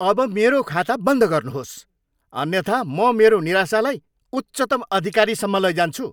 अब मेरो खाता बन्द गर्नुहोस्, अन्यथा म मेरो निराशालाई उच्चतम अधिकारीसम्म लैजान्छु।